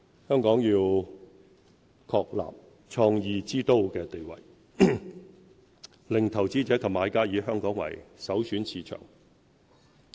香港要確立創意之都地位，令投資者及買家以香港為首選市場。